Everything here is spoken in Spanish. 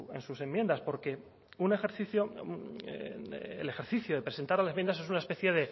en sus enmiendas porque el ejercicio de presentar enmiendas es una especie